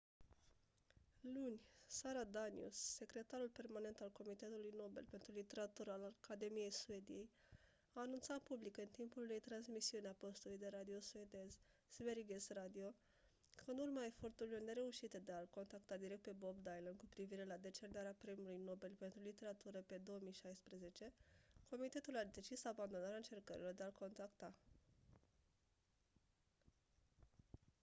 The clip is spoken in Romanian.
luni sara danius secretarul permanent al comitetului nobel pentru literatură al academiei suediei a anunțat public în timpul unei transmisiuni a postului de radio suedez sveriges radio că în urma eforturilor nereușite de a-l contacta direct pe bob dylan cu privire la decernarea premiului nobel pentru literatură pe 2016 comitetul a decis abandonarea încercărilor de a-l contacta